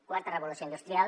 quarta revolució industrial